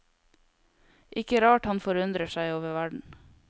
Ikke rart han forundrer seg over verden.